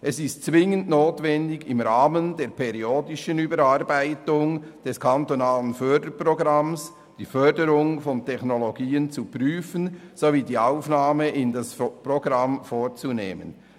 Es ist zwingend notwendig, im Rahmen der periodischen Überarbeitung des kantonalen Förderprogramms die Förderung von Technologien zu prüfen sowie die Aufnahme derselben ins Programm vorzunehmen.